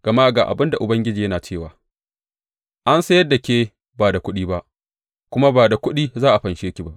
Gama ga abin Ubangiji yana cewa, An sayar da ke ba da kuɗi ba, kuma ba da kuɗi za a fanshe ki ba.